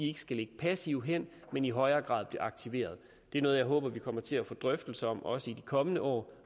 ikke skal ligge passivt hen men i højere grad bliver aktiveret det er noget jeg håber at vi kommer til at få drøftelser om også i de kommende år